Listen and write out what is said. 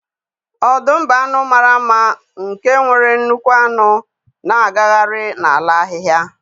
Ọdụm bụ anụ mara mma nke nwere nnukwu anụ na-agagharị n'ala ahịhịa.